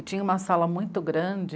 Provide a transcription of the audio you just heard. E tinha uma sala muito grande,